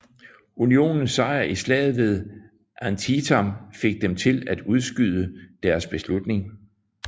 Unionens sejr i slaget ved Antietam fik dem til at udskyde deres beslutning